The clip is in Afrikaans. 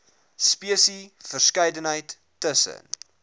spesies verskeidenheid tussen